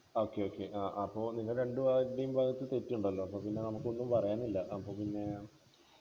okay okay അപ്പൊ നിങ്ങടെ രണ്ടുപേരുടെയും ഭാഗത്ത് തെറ്റുണ്ടല്ലോ അപ്പൊ പിന്നെ നമുക്കൊന്നും പറയാനില്ല അപ്പൊ പിന്നെ